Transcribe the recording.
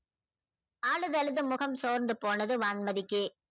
அழுது அழுது முகம் சிவந்து போனது வான்மதிக்கு